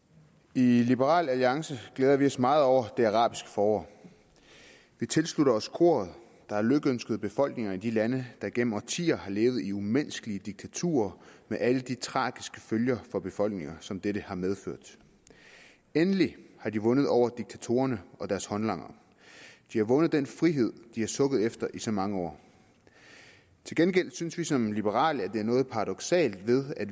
i liberal alliance glæder vi os meget over det arabiske forår vi tilslutter os koret der har lykønsket befolkningerne i de lande der gennem årtier har levet i umenneskelige diktaturer med alle de tragiske følger for befolkningerne som dette har medført endelig har de vundet over diktatorerne og deres håndlangere de har vundet den frihed de har sukket efter i så mange år til gengæld synes vi som liberale at der er noget paradoksalt ved at